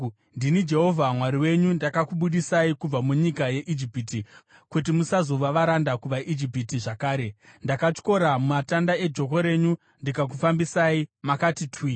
Ndini Jehovha Mwari wenyu, ndakakubudisai kubva munyika yeIjipiti kuti musazova varanda kuvaIjipita zvakare, ndakatyora matanda ejoko renyu ndikakufambisai makati twi.